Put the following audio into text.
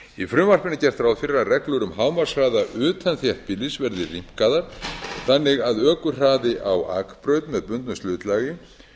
í frumvarpinu er gert ráð fyrir að reglur um hámarkshraða utan þéttbýlis verði rýmkaðar þannig að ökuhraði á akbraut með bundnu slitlagi